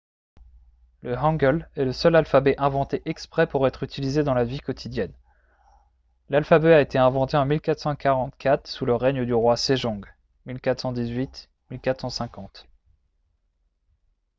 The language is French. le hangeul est le seul alphabet inventé exprès pour être utilisé dans la vie quotidienne. l'alphabet a été inventé en 1444 sous le règne du roi sejong 1418 – 1450